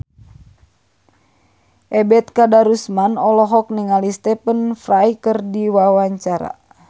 Ebet Kadarusman olohok ningali Stephen Fry keur diwawancara